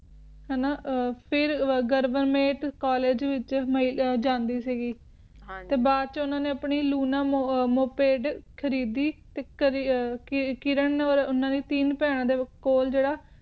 ਫਿਰ ਵਿਚ ਜਾਂਦੀ ਵਿਚ ਜਾਂਦੀ ਸੀ ਗੇ ਹਨ ਜੀ ਨਾ ਤੇ ਬਾਦ ਵਿਚ ਉਨ੍ਹਾਂ ਨੇ ਆਪਣੀ ਲੂਣਾ ਮੋਪੈਡ ਖਰੀਦੀ ਤੇ ਤੇ ਕਿਰਨ ਓਰ ਉਨ੍ਹਾਂ ਦੀ ਟੀਨ ਬੇਹਨਾਂ ਦੇ ਕੋਲ ਜੇਰਾ